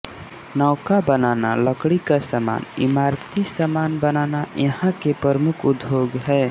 नौका बनाना लकड़ी का सामान इमारती सामान बनाना यहां के प्रमुख उद्योग है